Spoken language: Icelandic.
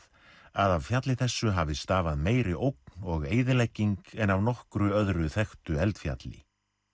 af fjalli þessu hafi stafað meiri ógn og eyðilegging en af nokkru öðru þekktu eldfjalli